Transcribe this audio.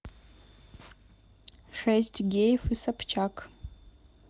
шесть геев и собчак